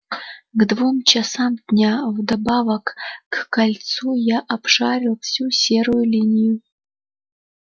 к двум часам дня вдобавок к кольцу я обшарил всю серую линию